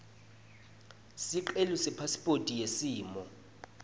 sicelo sepasiphothi yesimo